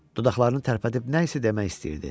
Dodaqlarını tərpədib nəsə demək istəyirdi.